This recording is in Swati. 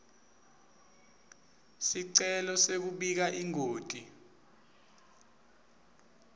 sicelo sekubika ingoti